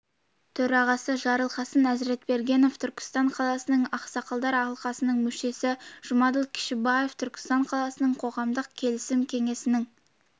төрағасы жарылқасын әзіретбергенов түркістан қаласының ақсақалдар алқасының мүшесі жұмаділ кішібаев түркістан қаласының қоғамдық келісім кеңесінің